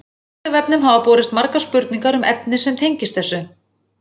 vísindavefnum hafa borist margar spurningar um efni sem tengist þessu